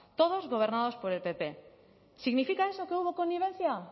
todos gobernadas por el pp significa eso que hubo connivencia